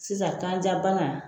Sisan kanja bana